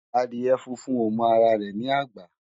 Adiè fúnfún ó mò àrá rè ni ágbà